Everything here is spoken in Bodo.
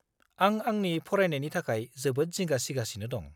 आं आंनि फरायनायनि थाखाय जोबोद जिंगा सिगासिनो दं।